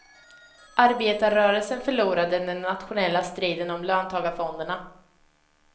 Arbetarrörelsen förlorade den nationella striden om löntagarfonderna.